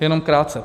Jen krátce.